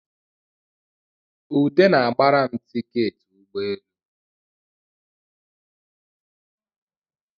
Ude na-gbara m tiketị ụgbọelu